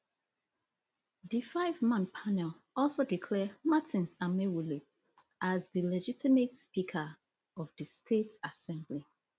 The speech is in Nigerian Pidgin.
di fiveman panel also declare martins amaewhule as di legitimate speaker of di state assembly